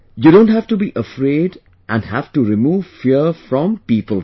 You don't have to be afraid and have to remove fear from people too